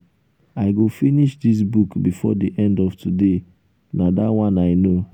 i go finish dis book before the end of today na dat one i know.